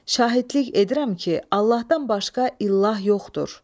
Şahidlik edirəm ki, Allahdan başqa ilah yoxdur.